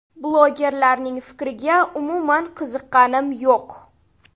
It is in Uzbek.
Blogerlarning fikriga umuman qiziqqanim yo‘q.